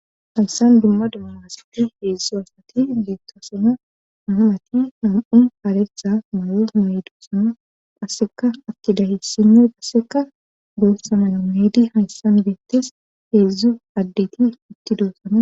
Hayssan dumma dummaasati heedzdzu asati deetto sona naa'ati nam'u haretha mayo mydu sana qasseka akkida hessinney qasseka goossa mala meedi hayssan beettes heedzdzu addeti itti duossana.